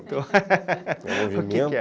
o que que é?